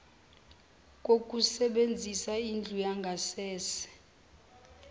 kokusebenzisa indlu yangasese